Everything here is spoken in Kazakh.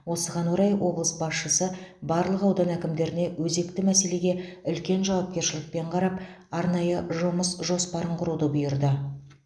осыған орай облыс басшысы барлық аудан әкімдеріне өзекті мәселеге үлкен жауапкершілікпен қарап арнайы жұмыс жоспарын құруды бұйырды